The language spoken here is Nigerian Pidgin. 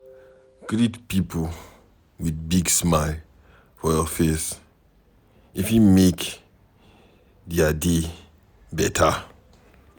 Greet pipo with big smile for your face, e fit make dia day beta.